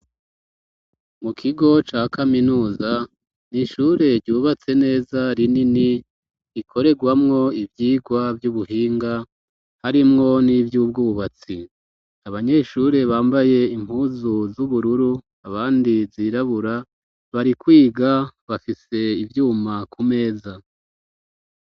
Mu kigo ca kaminuza n'ishure ryubatse neza rinini ikoregwamwo ivyigwa vy'ubuhinga harimwo n'ivyubwubatsi abanyeshure bambaye impuzu z'ubururu abandi zirabura bari kwiga bafise ivyuma ku meza.